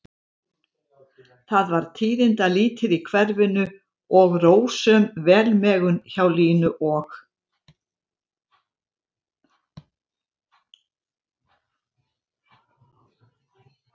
Það var tíðindalítið í hverfinu og rósöm velmegun hjá Línu og